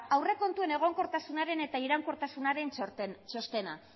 aurrekontuen egonkortasunaren eta iraunkortasunaren txostena